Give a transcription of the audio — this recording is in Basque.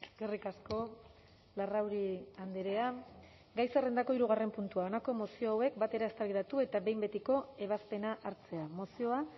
eskerrik asko larrauri andrea gai zerrendako hirugarren puntua honako mozio hauek batera eztabaidatu eta behin betiko ebazpena hartzea mozioa